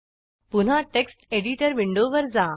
पुन्हा text editor विंडोवर जा